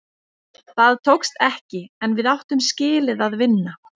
Það tókst ekki, en við áttum skilið að vinna.